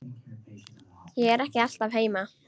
Ég er ekki alltaf heima.